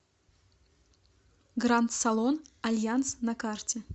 гранд салон альянс на карте